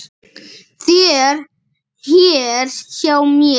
þér hér hjá mér